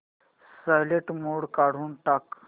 silent mode काढून टाक